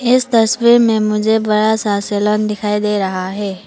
इस तस्वीर में मुझे बड़ा सा सेलोन दिखाई दे रहा है।